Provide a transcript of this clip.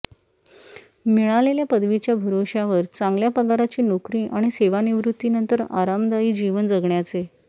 मिळालेल्या पदवीच्या भरोश्यावर चांगल्या पगाराची नोकरी आणि सेवानिवृत्तीनंतर आरामदायी जीवन जगण्याचे